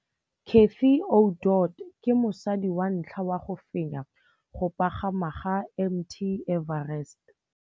Cathy Odowd ke mosadi wa ntlha wa go fenya go pagama ga Mt Everest.